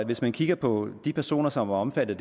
hvis man kigger på de personer som er omfattet